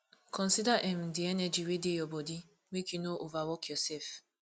consider um di energy wey dey your body make you no overwork yourself